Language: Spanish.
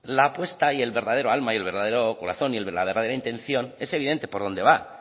la apuesta y el verdadero alma y el verdadero corazón y la verdadera intención es evidente por dónde va